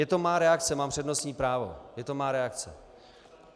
Je to má reakce, mám přednostní právo, je to má reakce.